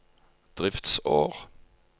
driftsår